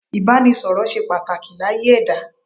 Ìbánisọ̀rọ̀ ṣe pàtàkì láyé ẹ̀dá.